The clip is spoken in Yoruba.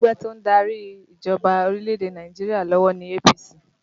Ẹgbẹ́ to ń darí ìjọba orílẹ̀ èdè Nàìjíríà lọ́wọ́ ní APC